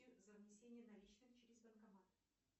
за внесение наличных через банкомат